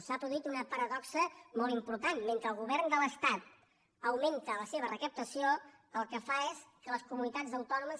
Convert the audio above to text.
s’ha produït una paradoxa molt important mentre el govern de l’es·tat augmenta la seva recaptació el que fa és que les comunitats autònomes